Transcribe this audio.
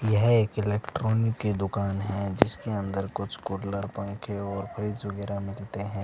यह एक इलेक्ट्रॉनिक की दुकान है जिसके अंदर कुछ कूलर पंखे और फ्रिज वगेरह मिलते है।